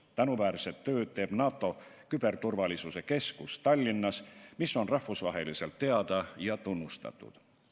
Tänuväärset tööd teeb NATO küberturvalisuse keskus Tallinnas, mis on rahvusvaheliselt teada ja tunnustatud.